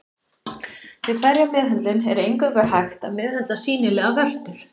Við hverja meðhöndlun er eingöngu hægt að meðhöndla sýnilegar vörtur.